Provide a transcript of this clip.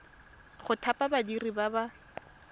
go thapa badiri ba ba